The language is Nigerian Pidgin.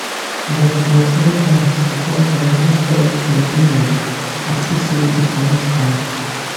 but but no thanks becos dem don spoil im image as if say e commit crime